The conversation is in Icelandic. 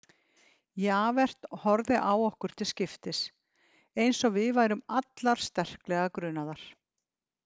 Javert horfði á okkur til skiptis eins og við værum allar sterklega grunaðar.